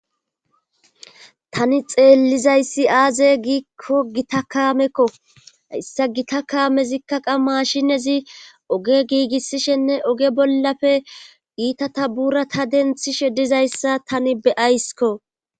tani xeellizayssi aaze giikko gita kaamekko issa gita kaamezikka mashinezi oge giigissishenne oge bollafe iitata buurata denthishe dizayssa tani beyaysikko